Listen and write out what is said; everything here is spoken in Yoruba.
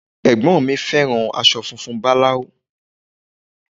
Ẹ̀gbọ́n mi fẹ́ràn aṣọ funfun báláú